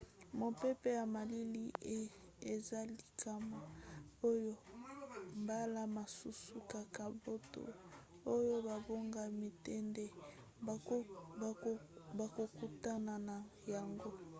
mopepe ya malili eza likama oyo mbala mosusu kaka bato oyo babongami te nde bakokutana na yango